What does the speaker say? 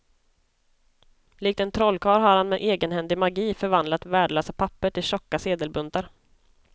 Likt en trollkarl har han med egenhändig magi förvandlat värdelösa papper till tjocka sedelbuntar.